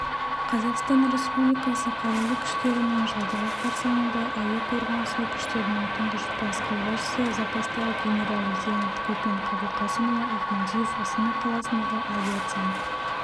қазақстан республикасы қарулы күштерінің жылдығы қарсаңында әуе қорғанысы күштерінің тұңғыш бас қолбасшысы запастағы генерал-лейтенант көпен қабылқасымұлы ахмадиев астана қаласындағы авиациялық